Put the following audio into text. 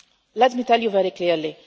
the US. Let me tell you very